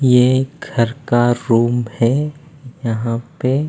ये घर का रूम है यहाँ पे--